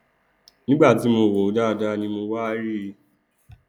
nígbà ti mo wòó dáadáa ni mo wá rí i